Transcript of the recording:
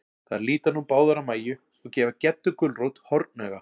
Þær líta nú báðar á Mæju, og gefa Geddu gulrót hornauga.